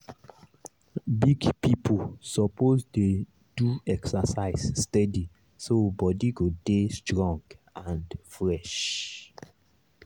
big people suppose dey do exercise steady so body go dey strong and fresh.